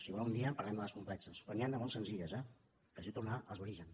si vol un dia parlem de les complexes però n’hi han de molt senzilles eh que es diu tornar als orígens